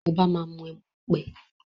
Obá má mí emu-ọpẹ́